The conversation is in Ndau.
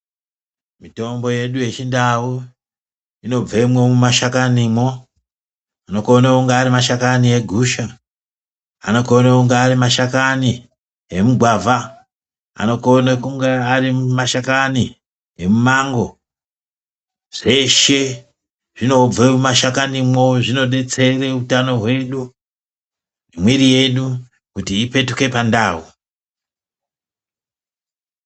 Mitombo yedu yeChindau, inobvemwo mumashakanimwo. Anokone kunge ari mashakani egusha, anokone kunge ari mashakani emugwavha, anokone kunge ari mashakani emumango. Zveshe zvinobve mumashakanimwo, zvinodetsere utano hwedu, nemwiiri yedu kuti ipetuke pandau.